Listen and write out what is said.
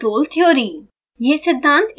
control theory